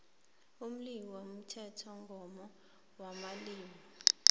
umleyo womthethomgomo wamalimi